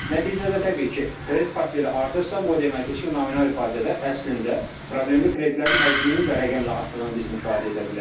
Nəticədə təbii ki, kredit portfeli artırsa, bu o deməkdir ki, nominal ifadədə əslində problemli kreditlərin həcminin də rəqəmlə artdığını biz müşahidə edə bilərik.